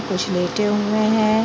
कुछ लेटे हुए हैं।